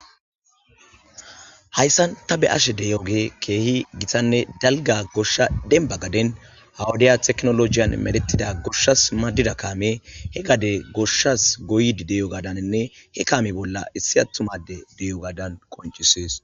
Hayssan ta be'ashe de'iyogey keehi gitanne dalgga goshsha dembba gaden ha wodiya tekinolojen medhettida goshshas maadida kaamey he gade goshshas goyiddi diyogaadaninne he kaame bolla issi attuma adde diyogadan qonccises.